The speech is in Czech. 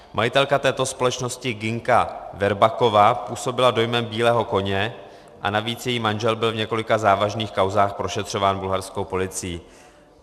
Majitelka této společnosti Ginka Verbakova působila dojmem bílého koně a navíc její manžel byl v několika závažných kauzách prošetřován bulharskou policií.